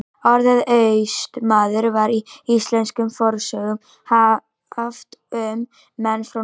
Orðið Austmaður var í íslenskum fornsögum haft um menn frá Noregi.